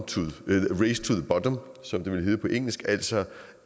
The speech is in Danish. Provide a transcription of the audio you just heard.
som det ville hedde på engelsk altså